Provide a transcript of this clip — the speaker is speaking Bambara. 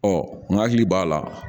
Ɔ n hakili b'a la